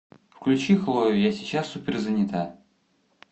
включи хлою я сейчас суперзанята